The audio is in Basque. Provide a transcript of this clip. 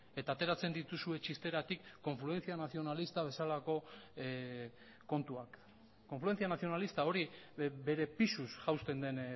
eta ateratzen dituzue txisteratik confluencia nacionalista bezalako kontuak confluencia nacionalista hori bere pisuz jausten den